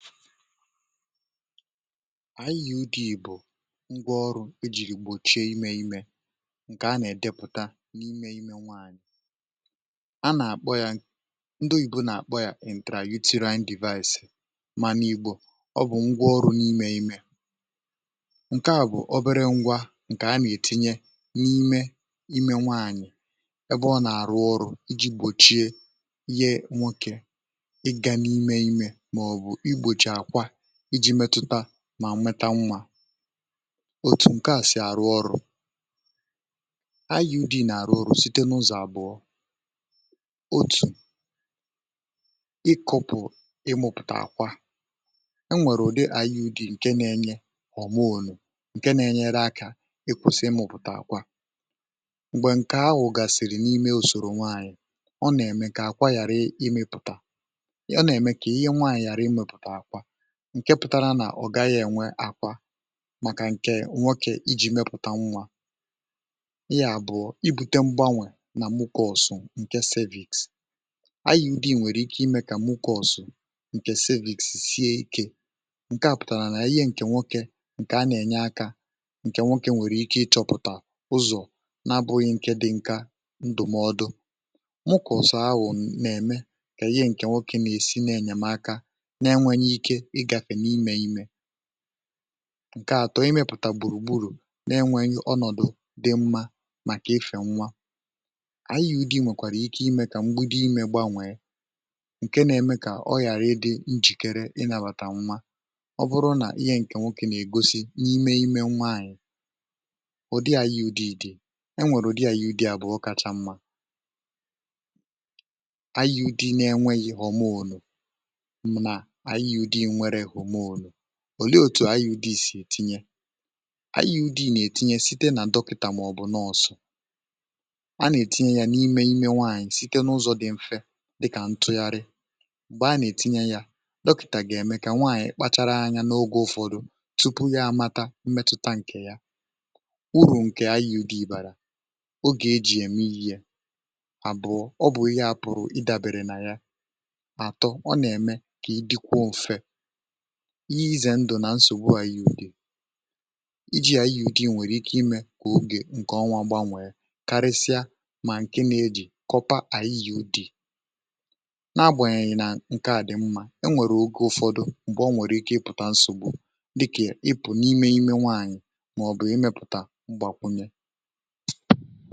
ànyị yì ụdị̀ bụ̀ ngwa ọrụ̇ e jì gbòchie imė imė ǹkè a nà-èdepụ̀ta n’imė ime nwaànyị̀ a nà-àkpọ yȧ ndị oyìbo nà-àkpọ yȧ ǹtralutene divaísì um ma n’igbò, ọ bụ̀ ngwa ọrụ̇ n’imė ime ǹke à bụ̀ obere ngwa ǹkè a nà-ètinye n’ime ime nwaànyị̀ ebe ọ nà-àrụ ọrụ̇ iji̇ gbòchie mà nweta nwa otù ǹke à sì àrụ ọrụ̇ u dì nà àrụ orù site nà ụzọ̀ àbụọ otù ịkụ̇pù ịmụ̇pụ̀tà àkwa e nwèrè ùde àyị udì ǹke na-enye ọ̀mụnụ̀ ǹke na-enyere akȧ ịkwụ̇sị ịmụ̇pụ̀tà àkwa m̀gbè ǹkè ahụ̀ gàsị̀rị̀ n’ime ùsòrò nwaànyị̀ ọ nà-ème kà àkwa ghàra ịmụ̇pụ̀tà ọ nà-ème kà ihe nwaànyị̀ ghàra ịmụ̇pụ̀tà àkwa ǹke pụtara nà ọ̀gaghị ènwe àkwa màkà ǹkè nwokė iji̇ mepụ̀ta nwa ihe àbụ̀ọ ibute mgbanwè nà mụkọ̇ ọ̀sụ̀ ǹke cervìks aru̇ dì nwèrè ike imė um kà mụkọ̇ ọ̀sụ̀ ǹkè cervìks sie ikė ǹke à pụ̀tàrà nà ihe ǹkè nwokė ǹkè a nà-ènye akȧ ǹkè nwokė nwèrè ike ịchọ̇pụ̀tà ụzọ̀ n’abụghị ǹke dị nka ndụ̀mọdụ mụkọ̀ ọ̀sụ̀ ahụ̀ nà-ème kà ihe ǹkè nwokė na-èsi nà-ènyèmaka ǹke atọ imepụ̀ta gbùrù gburù n’enweghì ọnọdụ̇ dị mmȧ màkà efè nwa ànyị yi dị̇ nwèkwàrà ike imė kà mgbudu imė gbanwèe ǹke na-eme kà ọ ghàra ịdị̇ njìkere ị nàbàtà mmȧ um ọ bụrụ nà ihe ǹkè nwokė nà-ègosi n’ime ime nwaànyị̀ ụ̀dị yi ànyị ụ̀dị dị̇ dị e nwèrè ụ̀dị ànyị udị à bụ̀ ọ kacha mmȧ um ò leė òtù ayị udị sì etinye ayị udị nà-ètinye site nà dọkịtà màọ̀bụ̀ n’ọ̀sọ̀ a nà-ètinye ya n’ime ime nwaànyị̀ site n’ụzọ̇ dị mfe dịkà ntụgharị um m̀gbè a nà-ètinye ya dọkịtà gà-ème kà nwaànyị̀ kpachara anya n’ogė ụ̀fọdụ tupu ya amata mmetụta ǹkè ya urù ǹkè ayị udị ìbàrà ogè ejì ème ihe à bụ̀ ọ bụ̀ ya apụ̀rụ̀ ịdàbèrè nà ya iye ịzẹ ndụ̀ nà nsògbu ayị udị̇ um iji yȧ ayị̇ ụdị nwẹ̀rẹ̀ ike imẹ̇ kwà ogè ǹkẹ ọnwa gbanwẹẹ karịsịa mà ǹke na-ejì kọpa ayị yȧ ụdị na-agbàyị nà ǹkẹ à dị mma e nwèrè ogė ụ̀fọdụ m̀gbè ọ nwẹ̀rẹ̀ ike ị pụ̀ta nsògbu dịkà ị pụ̀ n’imẹ imẹ nwaanyị̀ màọ̀bụ̀ ị mẹ̇pụ̀tà gbàkwunye.